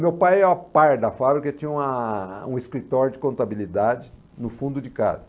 Meu pai é o pai da fábrica e tinha uma um escritório de contabilidade no fundo de casa.